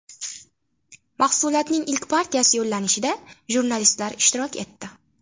Mahsulotning ilk partiyasi yo‘llanishida jurnalistlar ishtirok etdi.